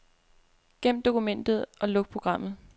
Gem dokumentet og luk programmet.